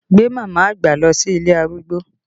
Gbé mama àgbà lọ sí ilé arúgbó!